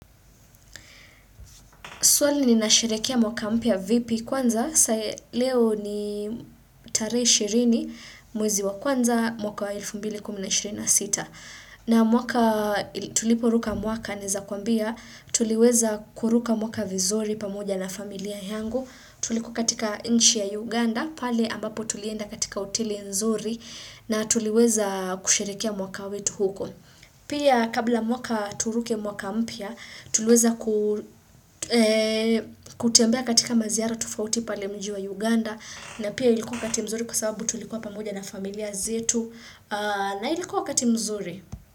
Swali ni nasherekea mwaka mpya vipi kwanza, leo ni tarehe ishirini mwezi wa kwanza mwaka wa 2026. Naam mwaka tuliporuka mwaka naeza kuambia, tuliweza kuruka mwaka vizuri pamoja na familia yangu, tulikuwa katika nchi ya Uganda, pale ambapo tulienda katika hoteli nzuri na tuliweza kusherekea mwaka wetu huko. Pia kabla mwaka turuke mwaka mpya tuliweza kutembea katika maziara tofauti pale mji wa Uganda na pia ilikuwa wakati mzuri kwa sababu tulikuwa pamoja na familia zetu na ilikuwa wakati mzuri.